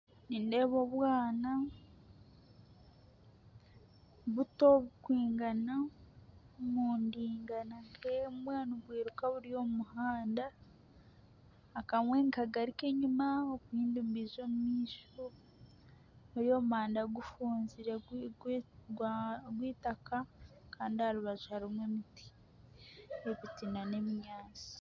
Nindeeba obwana, buto burikwingana, nibwiruka buri omu muhanda. Akamwe nikagaruka enyima obundi nibwija omu maisho. Buri omu muhanda gufunzire gwa gw'eitaka kandi aha rubaju harimu emiti, n'obuti n'ebinyaasi.